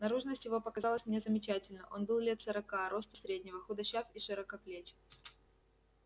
наружность его показалась мне замечательна он был лет сорока росту среднего худощав и широкоплеч